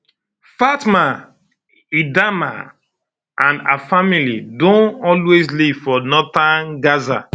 fatma um edaama and her family don always live for northern gaza